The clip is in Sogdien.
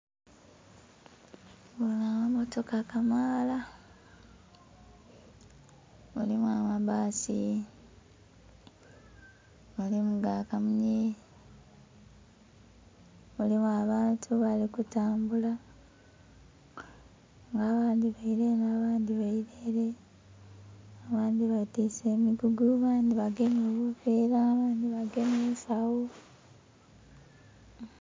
Ganho amammotoka kamaala. Mulimu amabbasi, mulimu ga kamunye, mulimu abantu nga bali kutambula nga abandhi baila enho nga bandhi baila ele. Abandhi betiise emigugu abandhi bagemye ebiveera, abandhi bagemye ensagho.